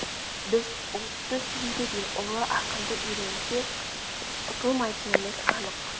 біз ұлтты сүюді де ұлы ақынды үйренсек ұтылмайтынымыз анық